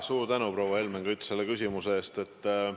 Suur tänu, proua Helmen Kütt, selle küsimuse eest!